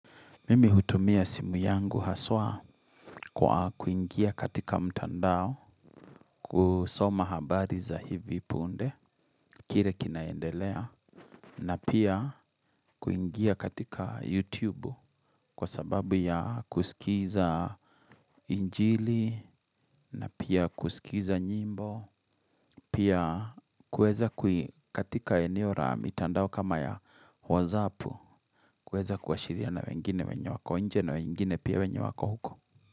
Mimi hutumia simu yangu haswa kwa kuingia katika mtandao kusoma habari za hivi punde kile kinaendelea na pia kuingia katika YouTube kwa sababu ya kusikiza injili na pia kusikiza nyimbo pia kueza katika eneo la mitandao kama ya wozapu kueza kuashiriana na wengine wenye wako nje na wengine pia wenye wako huko.